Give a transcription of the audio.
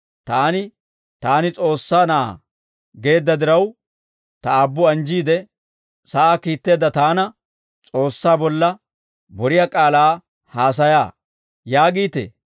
Taani, ‹Taani S'oossaa Na'aa› geedda diraw, Ta Aabbu anjjiide, sa'aa kiitteedda Taana, ‹S'oossaa bolla boriyaa k'aalaa haasayaa› yaagiitee?